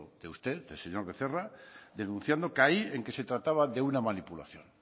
de usted el señor becerra denunciando que ahí se trataba de una manipulación